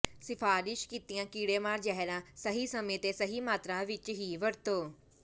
ਸਿਫਾਰਸ਼ ਕੀਤੀਆਂ ਕੀੜੇਮਾਰ ਜ਼ਹਿਰਾਂ ਸਹੀ ਸਮੇਂ ਤੇ ਸਹੀ ਮਾਤਰਾ ਵਿੱਚ ਹੀ ਵਰਤੋ